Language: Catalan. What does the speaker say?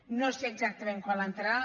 no sé exactament quan l’entraran